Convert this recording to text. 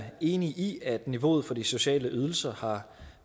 enig i at niveauet for de sociale ydelser har